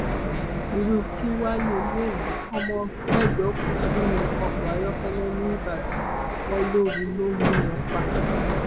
irú kí wàá lélẹyìí ọmọ mẹjọ kú sínú ọkọ ayọkẹlẹ níbàdàn wọn lóoru ló mú wọn pa